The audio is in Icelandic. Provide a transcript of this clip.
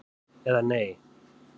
eða Nei?